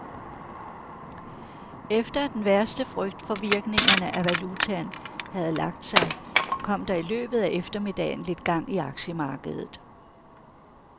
Efter at den værste frygt for virkningerne af valutaen havde lagt sig, kom der i løbet af eftermiddagen lidt gang i aktiemarkedet.